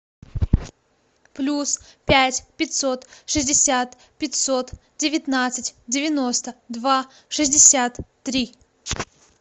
плюс пять пятьсот шестьдесят пятьсот девятнадцать девяносто два шестьдесят три